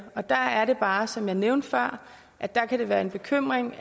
og der er det bare som jeg nævnte før at der kan være en bekymring